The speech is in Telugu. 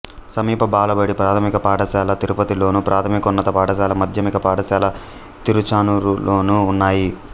సమీప బాలబడి ప్రాథమిక పాఠశాల తిరుపతిలోను ప్రాథమికోన్నత పాఠశాల మాధ్యమిక పాఠశాల తిరుచానూరులోనూ ఉన్నాయి